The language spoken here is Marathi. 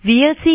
व्हीएलसी